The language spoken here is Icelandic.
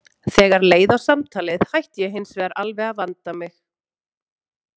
Þegar leið á samtalið hætti ég hins vegar alveg að vanda mig.